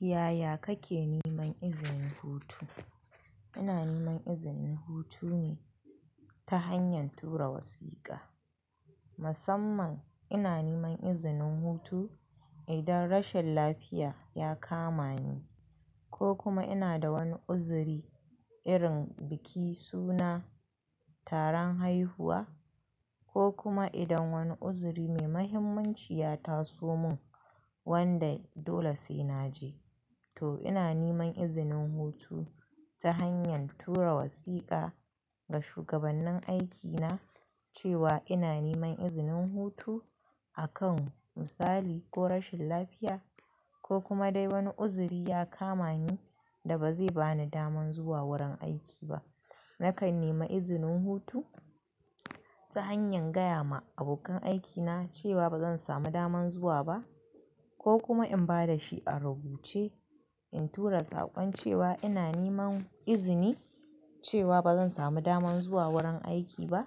Yaya kake neman izinin hutu? Ina neman izinin hutune ta hanyar tura wasiƙa. Musamman ina niman izinin hutu idan rashin lafiya ya kama ni ko kuma ina da wani uzuri irin biki suna, taron haihuwa ko kuma idan wani uzuri mai mahimmanci ya taso mun wanda dole sai naje. To ina niman izinin hutu ta hanyan tura wasiƙa ga shugabannin aikina cewa ina neman izinin hutu akan misali ko rashin lafiya ko kuma dai wani uzuri ya kama ni da ba zai bani daman zuwa wurin aiki ba. Nakan nema izinin hutu ta hanyar gaya ma abokan aikina cewa ba zan samu daman zuwa ba ko kuma in ba da shi a rubuce. In tura saƙon cewa ina neman izini cewa ba zan samu daman zuwa wurin aiki ba.